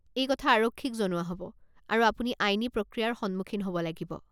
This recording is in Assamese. এই কথা আৰক্ষীক জনোৱা হ'ব, আৰু আপুনি আইনী প্ৰক্ৰিয়াৰ সন্মুখীন হ'ব লাগিব।